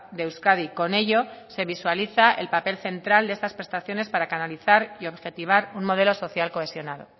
de euskadi con ello se visualiza el papel central de estas prestaciones para canalizar y objetivar un modelo social cohesionado